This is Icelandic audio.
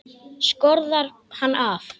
Skorðar hann af.